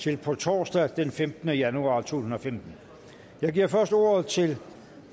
til på torsdag den femtende januar to tusind og femten jeg giver først ordet til